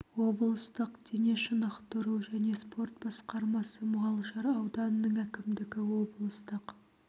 облыстық дене шынықтыру және спорт басқармасы мұғалжар ауданының әкімдігі облыстық